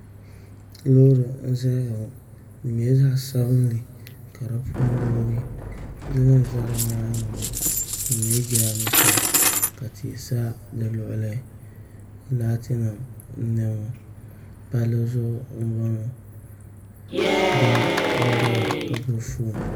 Loori n ʒɛya ŋo di nyɛla zaɣ sabinli ka di puuni yoogi yili n ʒɛ di nyaangi ŋo di nyɛla jiranbiisa ka tihi sa di luɣuli laati nim n boŋo palli zuɣu n boŋo doo n ʒɛya ka gbubi foon